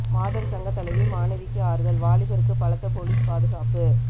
மாதர் சங்க தலைவி மாணவிக்கு ஆறுதல் வாலிபருக்கு பலத்த போலீஸ் பாதுகாப்பு